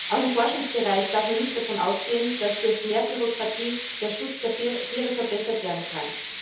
Auch im Forschungsbereich darf man nicht davon ausgehen, dass durch mehr Bürokratie der Schutz der Tiere verbessert werden kann.